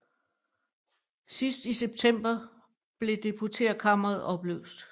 Sidst i september blev Deputeretkammeret opløst